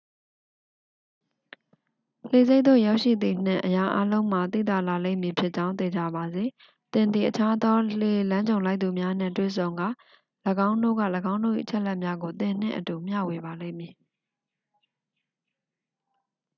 လှေဆိပ်သို့ရောက်ရှိသည်နှင့် အရာအားလုံးမှာ သိသာလာလိမ့်မည်ဖြစ်ကြောင်း သေချာပါစေ သင်သည် အခြားသော လှေလမ်းကြုံလိုက်သူများနှင့် တွေ့ဆုံကာ ၎င်းတို့က ၎င်းတို့၏အချက်အလက်များကို သင်နှင့်အတူမျှဝေပါလိမ့်မည်